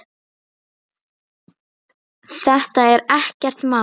Þetta er ekkert mál!